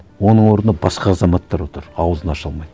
оның орнына басқа азаматтар отыр ауызын аша алмайды